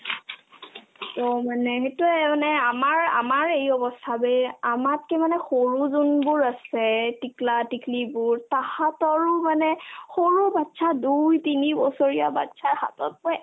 অ, মানে সেটোয়ে মানে আমাৰ আমাৰ এই অৱস্থা যে আমাতকে মানে সৰু যোনবোৰ আছে টিকলা-টিকলিবোৰ তাহাতৰো মানে সৰু bachcha দুই-তিনি বছৰীয়া bachcha ৰ হাততে মই